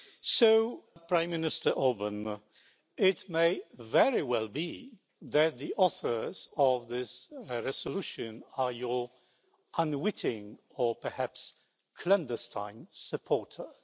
So, Prime Minister Orbán, it may very well be that the authors of this resolution are your unwitting or perhaps clandestine supporters.